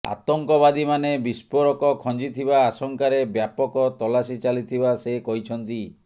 ଆତଙ୍କବାଦୀମାନେ ବିସ୍ଫୋରକ ଖଂଜିଥିବା ଆଶଙ୍କାରେ ବ୍ୟାପକ ତଲାସି ଚାଲିଥିବା ସେ କହିଛନ୍ତି